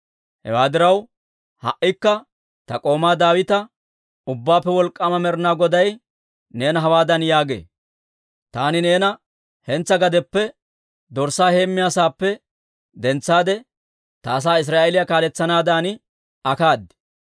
«Hewaa diraw, ha"ikka ta k'oomaa Daawita, ‹Ubbaappe Wolk'k'aama Med'inaa Goday neena hawaadan yaagee; «Taani neena hentsaa gadeppe, dorssaa heemmiyaa saappe dentsaade, ta asaa Israa'eeliyaa kaaletsanaadan akkaad.